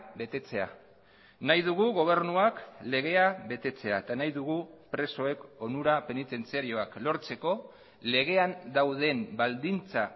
betetzea nahi dugu gobernuak legea betetzea eta nahi dugu presoek onura penitentziarioak lortzeko legean dauden baldintza